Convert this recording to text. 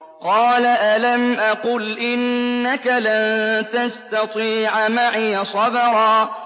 قَالَ أَلَمْ أَقُلْ إِنَّكَ لَن تَسْتَطِيعَ مَعِيَ صَبْرًا